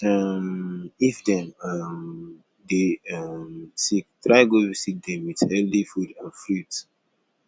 um if dem um de um sick try go visit dem with healthy food and fruits